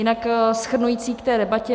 Jinak shrnující k té debatě.